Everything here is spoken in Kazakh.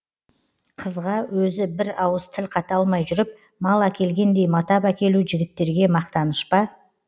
қызға өзі бір ауыз тіл қата алмай жүріп мал әкелгендей матап әкелу жігіттерге мақтаныш па